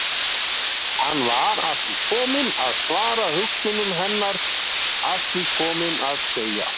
Hann var að því kominn að svara hugsunum hennar, að því kominn að segja